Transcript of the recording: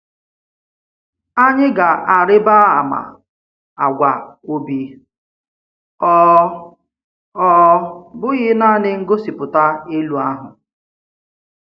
Anyị̀ ga-arịba àmà àgwà̀ obi, ọ̀ ọ̀ bụghị̀ nanị ngosipụta elu ahụ.